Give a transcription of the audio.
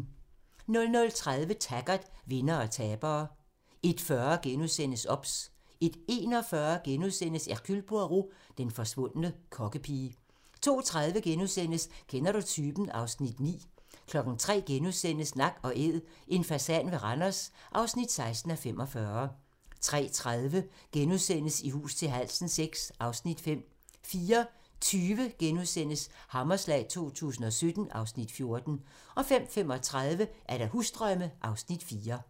00:30: Taggart: Vindere og tabere 01:40: OBS * 01:41: Hercule Poirot: Den forsvundne kokkepige * 02:30: Kender du typen? (Afs. 9)* 03:00: Nak & Æd - en fasan ved Randers (16:45)* 03:30: I hus til halsen VI (Afs. 5)* 04:20: Hammerslag 2017 (Afs. 14)* 05:35: Husdrømme (Afs. 4)